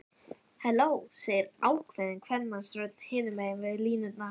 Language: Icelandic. Halló, segir ákveðin kvenmannsrödd hinum megin línunnar.